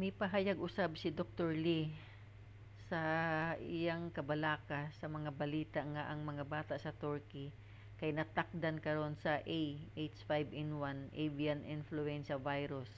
mipahayag usab si dr. lee sa ang iyang kabalaka sa mga balita nga ang mga bata sa turkey kay natakdan karon sa ah5n1 avian influenza virus